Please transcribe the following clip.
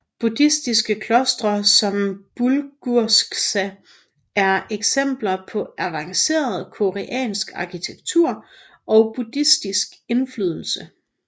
Buddhistiske klostre som Bulguksa er eksempler på avancerede koreansk arkitektur og buddhistiske indflydelse